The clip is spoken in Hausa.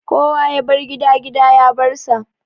Kowa ya bar gida, gida ya bar sa